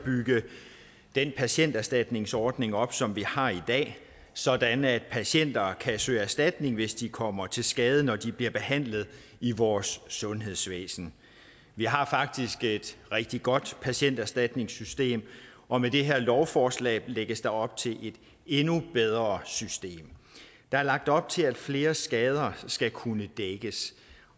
at bygge den patienterstatningsordning op som vi har i dag sådan at patienter kan søge erstatning hvis de kommer til skade når de bliver behandlet i vores sundhedsvæsen vi har faktisk et rigtig godt patienterstatningssystem og med det her lovforslag lægges der op til et endnu bedre system der er lagt op til at flere skader skal kunne dækkes